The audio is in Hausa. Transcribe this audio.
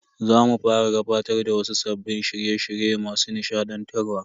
Za mu fara gabatar da wasu sabbin shirye shirye masu nishadantarwa.